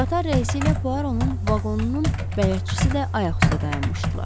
Qatar rəisi ilə Puaro-nun vaqonunun bələdçisi də ayaq üstə dayanmışdılar.